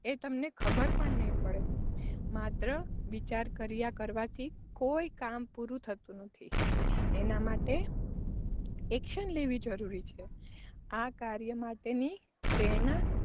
એ તમને ખબર પણ નહીં પડે, માત્ર વિચાર કર્યા કરવાથી કોઈ કામ પૂરું થતું નથી એના માટે action લેવી જરૂરી છે. આ કાર્ય માટેની પ્રેરણાં,